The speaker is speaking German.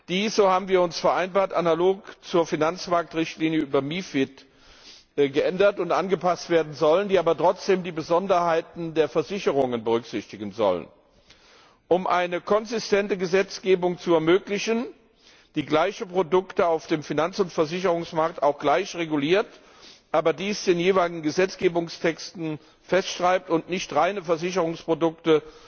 Diese so haben wir vereinbart sollen analog zur Finanzmarktrichtlinie über MiFID geändert und angepasst werden, wobei trotzdem die Besonderheiten der Versicherungen berücksichtigt werden sollen, um eine konsistente Gesetzgebung zu ermöglichen, die gleiche Produkte auf dem Finanz und Versicherungsmarkt auch gleich reguliert, aber dies in den jeweiligen Gesetzgebungstexten festschreibt und nicht reine Versicherungsprodukte